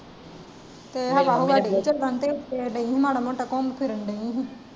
ਤੇ ਹਵਾ ਹੁਵਾ ਡੀਈ ਏ ਚੱਲਣ ਤੇ ਮਾੜਾ ਮੋਟਾ ਘੁੱਮਣ ਫਿਰਨ ਡਾਏ ਸਾ।